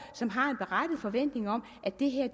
som har en berettiget forventning om at det her